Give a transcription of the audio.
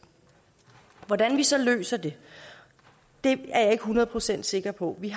hvordan vi så løser det det er jeg ikke hundrede procent sikker på i